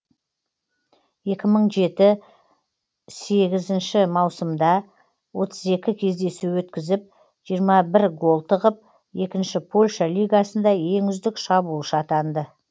екі мың жеті сегізінші маусымда отыз екі кездесу өткізіп жиырма бір гол тығып екінші польша лигасында ең үздік шабуылшы атанды